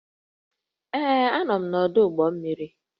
Ee, Anọ m n'ọdụ ụgbọ mmiri